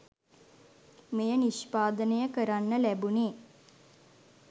මෙය නිෂ්පාදනය කරන්න ලැබුණේ.